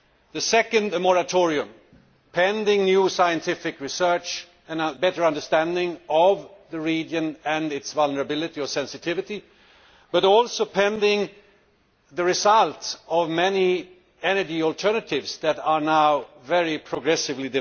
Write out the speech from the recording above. two, a moratorium, pending new scientific research and a better understanding of the region and its vulnerability or sensitivity, but also pending the results of many energy alternatives that are now developing very progressively.